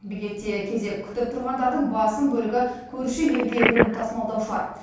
бекетте кезек күтіп тұрғандардың басым бөлігі көрші елге өнім тасымалдаушылар